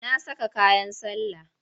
Na saka kayan sallah.